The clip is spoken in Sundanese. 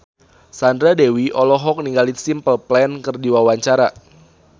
Sandra Dewi olohok ningali Simple Plan keur diwawancara